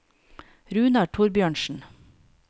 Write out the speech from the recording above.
Runar Thorbjørnsen